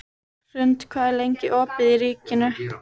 Hrund, hvað er lengi opið í Ríkinu?